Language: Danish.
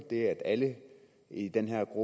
det at alle i den her